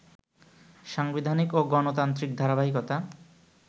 সাংবিধানিক ও গণতান্ত্রিক ধারাবাহিকতা